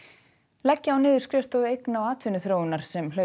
leggja á niður skrifstofu eigna og atvinnuþróunar sem hlaut